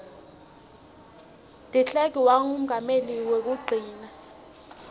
ngo deklerk wabangumongameli kwekugcina